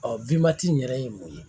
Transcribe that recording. in yɛrɛ ye mun ye